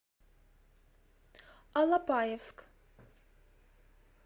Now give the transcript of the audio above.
алапаевск